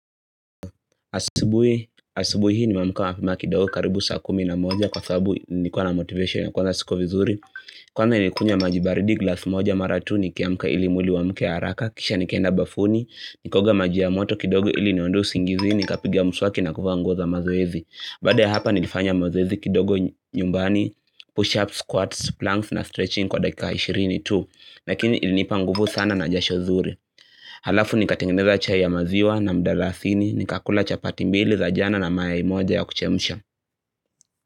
Asibuhi hii nime amka mapema kidogo karibu saa kumi na moja kwa sababu nilikuwa na motivation ya kuwa na siko vizuri Kwanza nilikunywa majibaridi glass moja mara tu nikiamka ili mwili uamke haaraka kisha nikaenda bafuni Nikaoga maji ya moto kidogo ili niondoe usingizi ni kapiga muswaki na kuvaa nguo za mazoezi Baada ya hapa nilifanya mazoezi kidogo nyumbani push-ups, squats, planks na stretching kwa dakika 20 tu Lakini ilinipa nguvu sana na jasho zuri Halafu nikatengeneza chai ya maziwa na mdalasini nikakula chapati mbili za jana na mayai moja ya kuchemsha.